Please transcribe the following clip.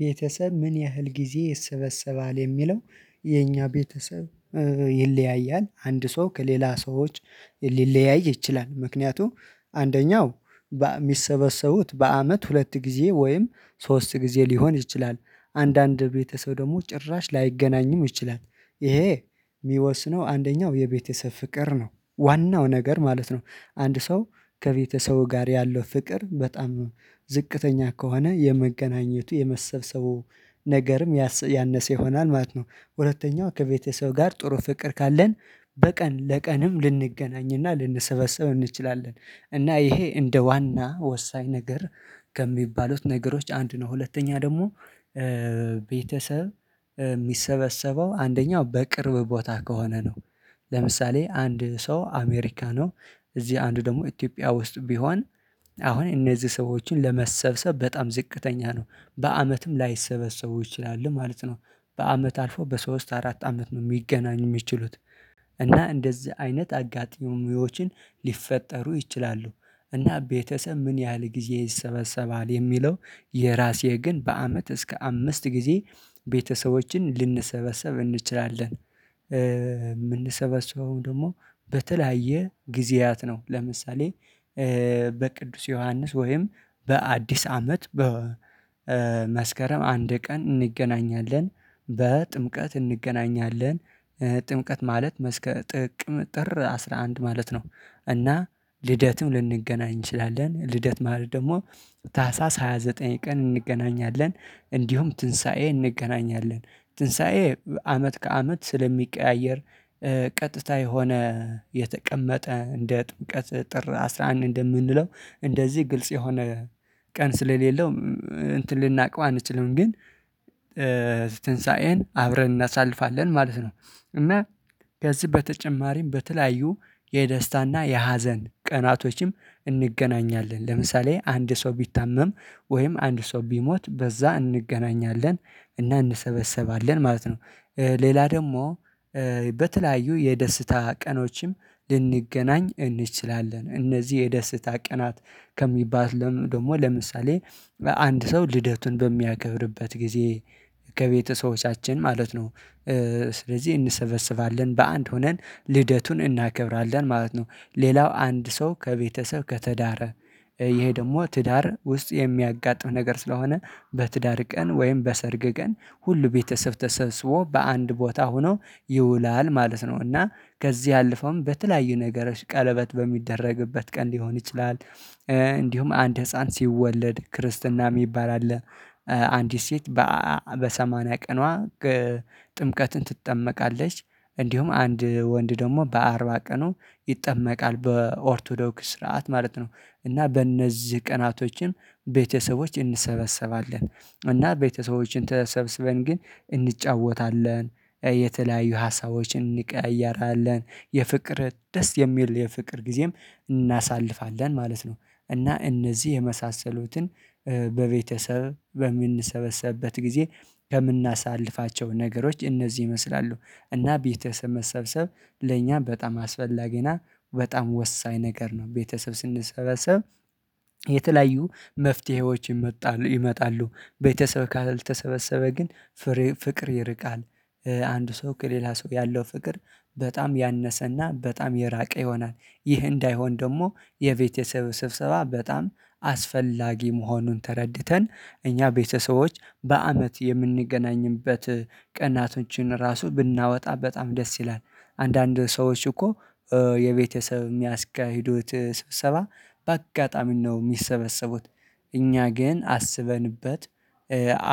ቤተሰብ ምን ያህል ጊዜ ይሰበሰባል የሚለው? የኛ ቤተሰብ ይለያያል አንድ ሰው ከሌላ ሰዎች ሊለያይ ይችላል ምክንያቱም አንደኛው የሚሰበሰቡት በአመት ሁለት ጊዜ ወይም ሶስት ጊዜ ሊሆን ይችላል። አንዳንድ ቤተሰብ ደግሞ ጭራሽ ላይገናኝም ይችላል። ይሄ የሚወስነው አንደኛው የቤተሰብ ፍቅር ነው ዋናው ነገር ማለት ነው አንድ ሰው ከቤተሰቡ ጋር ያለው ፍቅር በጣም ዝቅተኛ ከሆነ የመገናኘቱ የመሰብሰቡ ነገርም ያሰያነሰ ይሆናል ማለት ነው። ሁለተኛው ከቤተሰብ ጋር ጥሩ ፍቅር ካለን በቀን ለቀንም ልንገናኝ እና ልንሰበሰብ እንችላለን። እና ይሄ እንደ ዋና ወሳኝ ነገር ከሚባሉት ነገሮች አንዱ ነው። ሁለተኛ ደግሞ ቤተሰብ የሚሰበሰበው አንደኛው በቅርብ ቦታ ከሆነ ነው። ለምሳሌ አንድ ሰው አሜሪካ ነው እዚህ አንዱ ደግሞ ኢትዮጵያ ውስጥ ቢሆን አሁን እነዚህ ሰዎችን ለመሰብሰብ በጣም ዝቅተኛ ነው በዓመትም ላይሰበሰቡ ይችላሉ ማለት ነው። በአመት አልፎ በሶስት አራት አመት ነው ሊገናኙ የሚችሉት። እና እንደዚህ አይነት አጋጣሚዎችን ሊፈጠሩ ይችላሉ። እና ቤተሰብ ምን ያህል ጊዜ ይሰበሰባል የሚለው? የራሴ ግን በአመት እስከ አምስት ጊዜ ቤተሰቦችን ልንሰበሰብ እንችላለን። የምንሰበሰበውም ደግሞ በተለያየ ጊዜያት ነው። ለምሳሌ በቅዱስ ዮሐንስ ወይም በአዲስ አመት በመስከረም አንድ ቀን እንገናኛለን በጥምቀት እንገናኛለን። ጥምቀት ማለት መስከ ጥቅም ጥር አስራ አንድ ማለት ነው። እና ልደትም ልንገናኝ እንችላለን ልደት ማለት ደግሞ ታህሳስ ሃያ ዘጠኝ ቀን እንገናኛለን። እንዲሁም ትንሳኤ እንገናኛለን ትንሳኤ አመት ከአመት ስለሚቀያየር። ቀጥታ የሆነ የተቀመጠ እንደ ጥምቀት ጥር አስራ አንድ እንደምንለው እንደዚህ ግልጽ የሆነ ቀን ስለሌለው እንትን ልናውቀው አንችልም ግን ትንሳኤን አብረን እናሳልፋለን ማለት ነው። እና ከዚህ በተጨማሪም በተለያዩ የደስታ እና የሀዘን ቀናቶችም እንገናኛለን ለምሳሌ አንድ ሰው ቢታመም ወይም አንድ ሰው ቢሞት በዛ እንገናኛለን። እና እንሰበሰባለን ማለት ነው። ሌላ ደግሞ በተለያዩ የደስታ ቀኖችም ልንገናኝ እንችላለን እነዚህ የደስታ ቀናት ከሚባል ደግሞ ለምሳሌ አንድ ሰው ልደቱን በሚያከብርበት ጊዜ ከቤተሰቦቻችን ማለት ነው። ስለዚህ እንሰበስባለን በአንድ ሆነን ልደቱን እናከብራለን ማለት ነው። ሌላው አንድ ሰው ከቤተሰብ ከትዳር ይሄ ደግሞ ትዳር ውስጥ የሚያጋጥም ነገር ስለሆነ በትዳር ቀን ወይም በሰርግ ቀን ሁሉ ቤተሰብ ተሰብስቦ በአንድ ቦታ ሆኖ ይውላል ማለት ነው። እና ከዚህ ያለፈውም በተለያዩ ነገሮች ቀለበት በሚደረግበት ቀን ሊሆን ይችላል። እንዲሁም አንድ ህፃን ሲወለድ ክርስትና የሚባል አለ። አንዲት ሴት በአአ በሰማንያ ቀኗ ጥምቀትን ትጠመቃለች። እንዲሁም አንድ ወንድ ደግሞ በአርባ ቀኑ ይጠመቃል በኦርቶዶክስ ስርዓት ማለት ነው። እና በእነዚህ ቀናቶችን ቤተሰቦች እንሰበሰባለን። እና ቤተሰቦችን ተሰብስበን ግን እንጫወታለን የተለያዩ ሀሳቦችን እንቀያያራለን የፍቅር ደስ የሚል የፍቅር ጊዜም እናሳልፋለን ማለት ነው። እና እነዚህ የመሳሰሉትን በቤተሰብ በምንሰበሰብበት ጊዜ ከምናሳልፋቸው ነገሮች እነዚህ ይመስላሉ። እና ቤተሰብ መሰብሰብ ለእኛ በጣም አስፈላጊ እና በጣም ወሳኝ ነገር ነው። ቤተሰብ ስንሰበሰብ የተለያዩ መፍትሄዎችን ይመጣሉ ይመጣሉ ቤተሰብ ካልተሰበሰበ ግን ፍሬ ፍቅር ይርቃል። አንድ ሰው ከሌላ ሰው ያለው ፍቅር በጣም ያነሰና በጣም የራቀ ይሆናል። ይህ እንዳይሆን ደግሞ የቤተሰብ ስብሰባ በጣም አስፈላጊ መሆኑን ተረድተን እኛ ቤተሰቦች በአመት የምንገናኝበት ቀናቶችን ራሱ ብናወጣ በጣም ደስ ይላል። አንዳንድ ሰዎች እኮ የቤተሰብ የሚያስካሂዱት ስብሰባ በአጋጣሚ ነው የሚሰበሰቡት። እኛ ግን አስበንበት